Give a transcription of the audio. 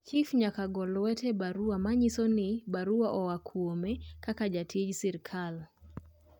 chif nyaka go lwete a barua ma nyiso ni barua oa kuome kaka jatij sirkal